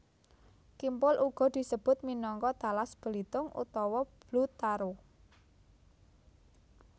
Kimpul uga disebut minangka talas Belitung utawa Blue Taro